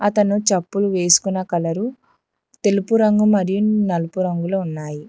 అతను చెప్పులు వేసుకున్న కలరు తెలుపు రంగు మరియు నలుపు రంగులో ఉన్నాయి.